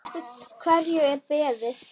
Eftir hverju er beðið?